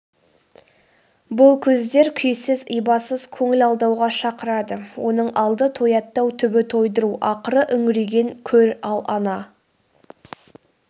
бұл көздер күйсіз ибасыз көңіл алдауға шақырады оның алды тояттау түбі тойдыру ақыры үңірейген көр.ал ана